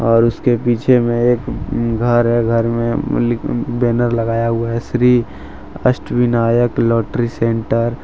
और उसके पीछे में एक अं घर है। घर में अम् अम् बैनर लगाया हुआ है श्री अष्टविनायक लॉटरी सेंटर ।